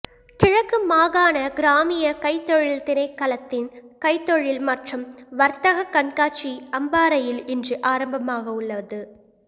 கிழக்கு மாகாண கிராமிய கைத்தொழில் திணைக்களத்தின் கைத்தொழில் மற்றும் வர்த்தகக் கண்காட்சி அம்பாறையில் இன்று ஆரம்பமாகவுள்ளது